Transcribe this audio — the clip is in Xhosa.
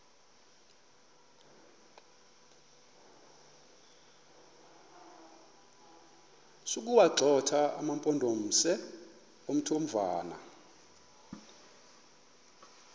sokuwagxotha amampondomise omthonvama